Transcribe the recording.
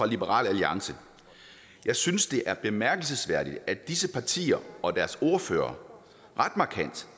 liberal alliance jeg synes det er bemærkelsesværdigt at disse partier og deres ordførere ret markant